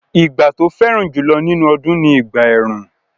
Ìgbà tó fẹ́ràn jùlọ nínú ọdún ni ìgbà ẹ̀rùn